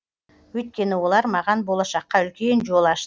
өйткені олар маған болашаққа үлкен жол ашты